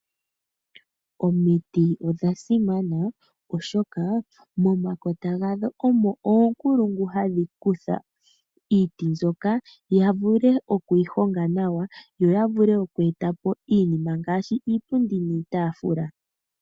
Omiti odhasimana oshoka momakota gadho omo oonkulungu hadhi kutha iiti mbyoka yavule okuyi honga nawa yo yavule oku etapo iinima ngaashi iipundi niitafula.